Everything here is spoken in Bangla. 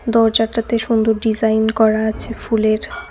দরজাটাতে সুন্দর ডিজাইন করা আছে ফুলের।